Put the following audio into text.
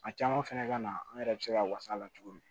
A caman fɛnɛ ka na an yɛrɛ be se ka wasa la cogo di